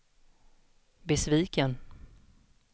besviken